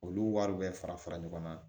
Olu wariw bɛ fara fara ɲɔgɔn na